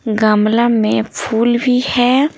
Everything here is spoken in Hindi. गमला में फूल भी है।